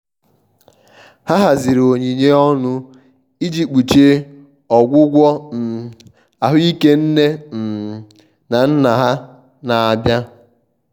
ha haziri onyinye ọnụ iji kpuchie ọgwụgwọ um ahuike nne um na nna ha na-abịa.